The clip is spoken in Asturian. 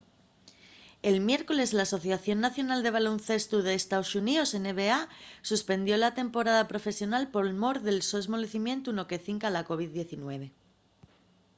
el miércoles l'asociación nacional de baloncestu d’estaos xuníos nba suspendió la temporada profesional por mor del so esmolecimientu no que cinca a la covid-19